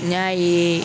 N'a ye